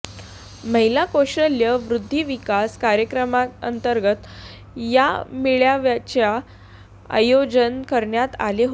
महिला कौशल्य वृध्दी विकास कार्यक्रमांतंर्गत या मेळाव्याचे आयोजन करण्यात आले होते